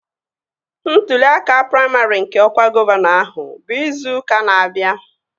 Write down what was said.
Ntụli aka praimarị nke ọkwa gọvanọ ahụ bụ izu ụka na-abịa